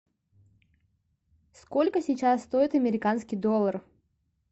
сколько сейчас стоит американский доллар